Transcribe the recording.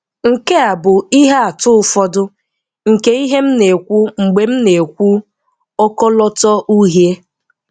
Nke a bụ ihe atụ ụfọdụ nke ihe m na-ekwu mgbe m na-ekwu "ọkọlọtọ uhie".